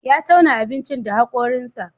Ya tauna abincin da hakorinsa.